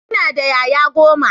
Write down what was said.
Ina da ƴaƴa goma.